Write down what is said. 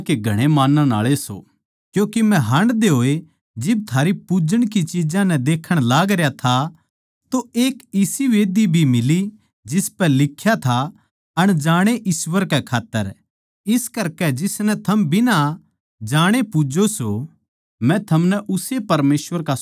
क्यूँके मै हांडदे होए जिब थारी पुज्जण की चिज्जां नै देखण लागरया था तो एक इसी मंढही भी मिली जिसपै लिख्या था अनजाणे ईश्‍वर कै खात्तर इस करकै जिसनै थम बिना बेरे पूज्जो सो मै थमनै उस्से परमेसवर का सुसमाचार सुणाऊँ सूं